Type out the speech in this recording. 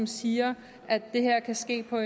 siger at det her kan ske på